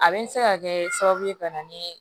A bɛ se ka kɛ sababu ye ka na ni